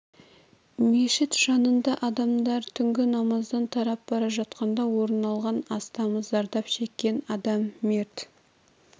мешіт жанында адамдар түнгі намаздан тарап бара жатқанда орын алған астамы зардап шеккен адам мерт